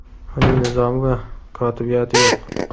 uning nizomi va kotibiyati yo‘q.